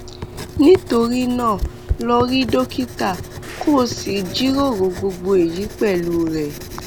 nítorí náà lọ rí dókítà kó o sì jíròrò gbogbo èyí pẹlú rẹ